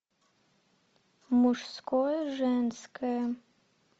мужское женское